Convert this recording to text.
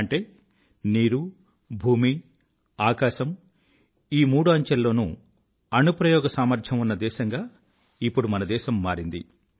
అంటే నీరు భూమి ఆకాశం ఈ మూడు అంచెల్లోనూ అణుప్రయోగ సామర్థ్యం ఉన్న దేశంగా ఇప్పుడు మన దేశం మారింది